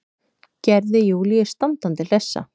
Gerði Júlíu standandi hlessa.